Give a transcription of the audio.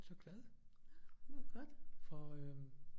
Så glad for øh